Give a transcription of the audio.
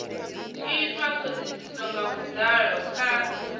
itwa thodisiso nga vhudalo kha